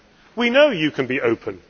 We know you can be open.